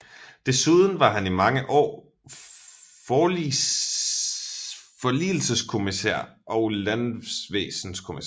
Desuden var han i mange år forligelseskommissær og landvæsenskommissær